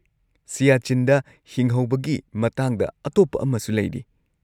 ꯁꯤꯌꯥꯆꯤꯟꯗ ꯍꯤꯡꯍꯧꯕꯒꯤ ꯃꯇꯥꯡꯗ ꯑꯇꯣꯞꯄ ꯑꯃꯁꯨ ꯂꯩꯔꯤ꯫